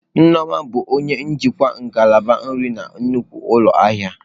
Nneoma bụ onye njikwa ngalaba nri na nnukwu ụlọ ahịa.